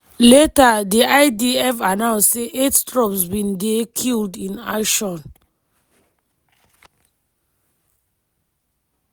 later di idf announce say eight troops bin dey killed in action.